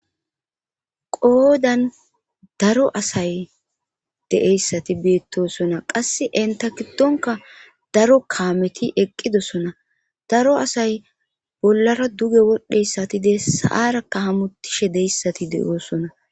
Qoodan daro asay deeyssati beettosona qass enta giddonka daro kaameti eqqidosona daro asay bollara duge wodhdheyssatide saarakka hamutishe deyssati de'oosona